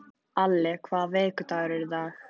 Alli, hvaða vikudagur er í dag?